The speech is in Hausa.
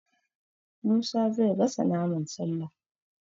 Musa zai gasa naman Sallah